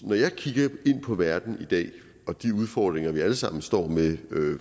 jeg kigger på verden i dag og de udfordringer vi alle sammen står med